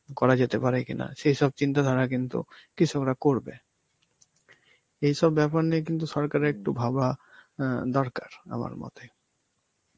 করা যেতে পারে কিনা, সেইসব চিন্তা ধারা কিন্তু কৃষকরা করবে. এইসব ব্যাপার নিয়ে কিন্তু সরকারের একটু ভাবা অ্যাঁ দরকার আমার মতে.